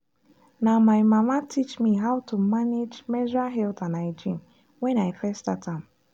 na my mama teach me how to manage menstrual health and hygiene when i first start am.